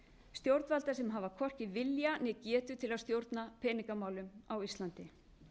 stjórnvalda sem hafa hvorki vilja né getu til að stjórna peningamálum á íslandi